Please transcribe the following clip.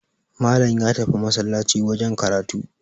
Malam ya tafi masallaci wajen karatu